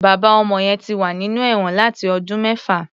Bàbá ọmọ yẹn ti wà nínú ẹ̀wọn láti ọdún mẹ́fà.